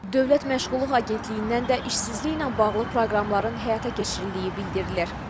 Dövlət Məşğulluq Agentliyindən də işsizliklə bağlı proqramların həyata keçirildiyi bildirilir.